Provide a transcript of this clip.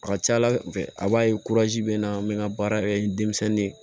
A ka ca ala fɛ a b'a ye bɛ naa n bɛ n ka baara kɛ ni denmisɛnnin ye